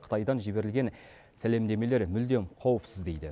қытайдан жіберілген сәлемдемелер мүлдем қауіпсіз дейді